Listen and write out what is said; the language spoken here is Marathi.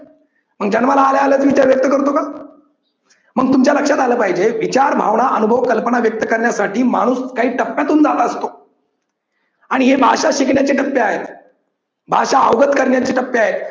मग जन्माला आल्याआल्याच विचार व्यक्त करतो का? मग तुमच्या लक्षात आलं पाहिजे विचार भावना अनुभव कल्पना व्यक्त करण्यासाठी माणूस काही टप्प्यातून जात असतो आणि हे भाषा शिकण्याचे टप्पे आहेत, भाषा अवगत करण्याची टप्पे आहेत